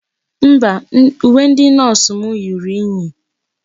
Mba, uwe ndi nọọsụ m ruru unyi.